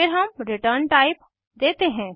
फिर हम return type देते हैं